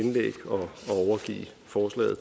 forslag